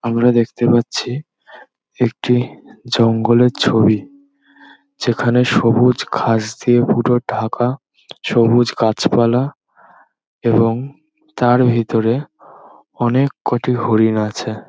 আমরা দেখতে পারছি একটি জঙ্গল এর ছবি । যেখান এ সবুজ ঘাস দিয়া পুরো ঢাকা। সবুজ গাছপালা এবং তার ভিতরে অনকে কটি হরিণ আছে।